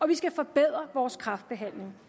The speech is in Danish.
vi skal forbedre vores kræftbehandling